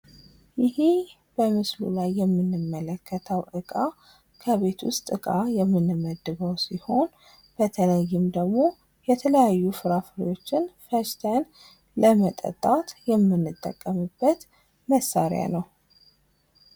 ይሄ በምስሉ ላይ የምንመለከተው ዕቃ ከቤተ ውስጥ ዕቃ የምንመድበው ሲሆን በተለይም ደግሞ የተለያዩ ፍራፍሬዎችን ገዝተን ለመጠጣት የምንጠቀምበት መሳሪያ ነው።